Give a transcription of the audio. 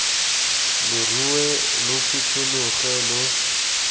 lo rue lo phuthologe lo